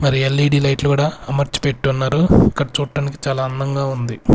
మరి ఎల్_ఈ_డి లైట్లు కూడా అమర్చి పెట్టి ఉన్నారు ఇక్కడ చూట్టానికి చాలా అందంగా ఉంది.